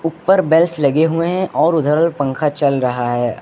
ऊपर बेल्स लगे हुए हैं और उधर पंखा चल रहा है।